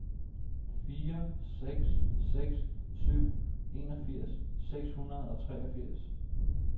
fire seks seks syv enogfirs seks hundrede og treogfirs